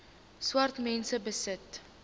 swart mense besit